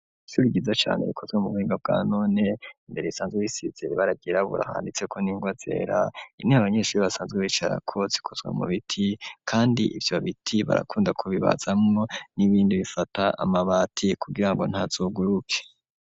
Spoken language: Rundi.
Ishuri ryiza cane rikozwe mu buhinga bwanone mbere risanzwe risize ibara ryirabura handitseko n'ingwa zera intebe abanyeshuri basanzwe bicarako zikozwe mu biti kandi ivyo biti barakunda ku bibatazamwo n'ibindi bifata amabati ku girango ntazoguruke.